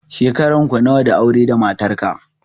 Shekaran ku nawa da aure da matarka?